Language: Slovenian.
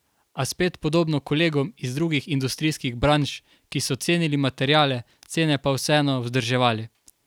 A spet podobno kolegom iz drugih industrijskih branž, ki so cenili materiale, cene pa vseeno vzdrževali.